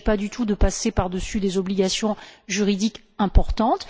Il ne s'agit pas du tout de passer par dessus les obligations juridiques importantes.